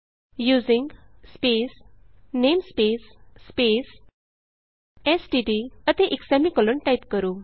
using space namespace space STD ਅਤੇ ਇਕ semicolon type ਕਰੋ